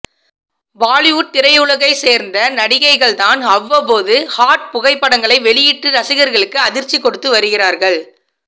பாலிவுட் திரையுலகை சேர்ந்த நடிகைகள் தான் அவ்வப்போது ஹாட் புகைப்படங்களை வெளியிட்டு ரசிகர்களுக்கு அதிர்ச்சி கொடுத்து வருகிறார்கள்